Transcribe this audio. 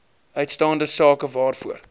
uitstaande sake waarvoor